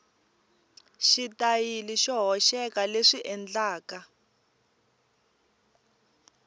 xitayili xo hoxeka leswi endlaka